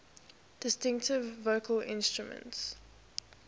distinctive vocal instrument